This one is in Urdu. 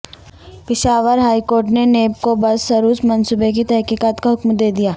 پشاور ہائی کورٹ نے نیب کو بس سروس منصوبے کی تحقیقات کا حکم دے دیا